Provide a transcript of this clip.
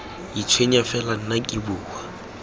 itshwenya fela nna ke bua